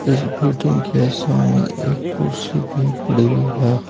इस होटल के सामने एक कुर्सी भी पड़ी हुई है।